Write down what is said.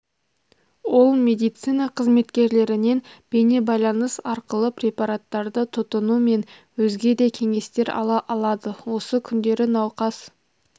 ол медицина қызметкерлерінен бейнебайланыс арқылы препараттарды тұтыну мен өзге де кеңестер ала алады осы күндері науқас